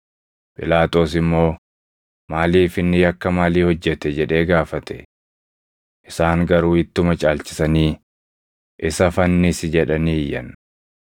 Phiilaaxoos immoo, “Maaliif? Inni yakka maalii hojjete?” jedhee gaafate. Isaan garuu ittuma caalchisanii, “Isa fannisi!” jedhanii iyyan.